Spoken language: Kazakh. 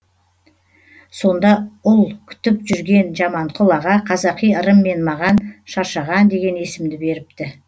сонда ұл күтіп жүрген жаманқұл аға қазақи ырыммен маған шаршаған деген есімді беріпті